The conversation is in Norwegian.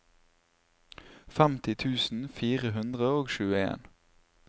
femti tusen fire hundre og tjueen